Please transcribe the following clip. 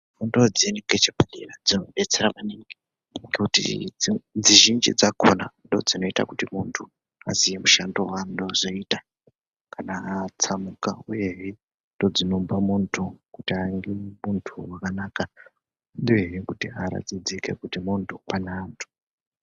Fundo dzeshe dzepadera dzinodetsera maningi ngekuti dzizhinji dzakona ndoodzinoita kuti muntu aziye mushando waanode kuzoite kana atsamhuka uyehe ndoodzinopa muntu kuti ange muntu wakanaka, uyehe kuti aratidzike kuti muntu pane antu.